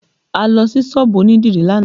A lọ sí sọ́ọ̀bù onídìrí lánàá